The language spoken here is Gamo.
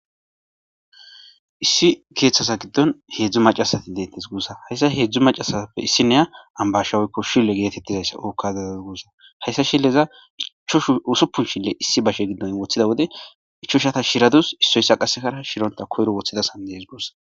Issi keeththasa giddon heedzdzu macasati deettes gussa hayssa heedzdzu macasappe issineya ambashaweykko shille geetettizayssa ookkadadaz gussa hayssa shilleza ichoshu usuppun shille issi bashe giddon woththida wode ichoshata shiradus issoyssa qasekara shironta koyro woththidasan dees guossa.